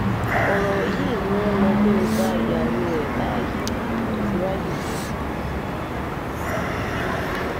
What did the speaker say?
ọ̀rọ̀ yìí ni wọ́n lọ mú un gba ìyàwó ẹ̀ láàyè tó fi ráàyè wọlé